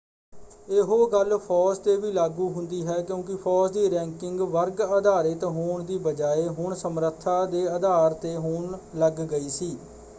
ਇਹੋ ਗੱਲ ਫੌਜ ‘ਤੇ ਵੀ ਲਾਗੂ ਹੁੰਦੀ ਹੈ ਕਿਉਂਕਿ ਫੌਜ ਦੀ ਰੈੰਕਿੰਗ ਵਰਗ-ਆਧਾਰਿਤ ਹੋਣ ਦੀ ਬਜਾਏ ਹੁਣ ਸਮਰੱਥਾ ਦੇ ਆਧਾਰ ‘ਤੇ ਹੋਣ ਲੱਗ ਗਈ ਸੀ।